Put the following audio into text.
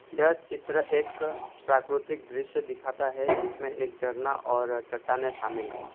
यह चित्र एक प्राकृतिक दृश्य दिखाता है जिसमें एक झरना और चट्टानें शामिल हैं।